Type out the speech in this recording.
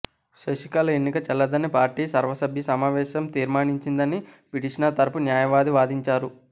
శశికళ ఎన్నిక చెల్లదని పార్టీ సర్వసభ్య సమావేశం తీర్మానించిందని పిటిషనర్ తరపు న్యాయవాది వాదించారు